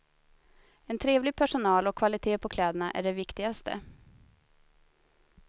En trevlig personal och kvalitet på kläderna är det viktigaste.